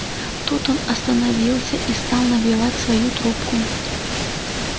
тут он остановился и стал набивать свою трубку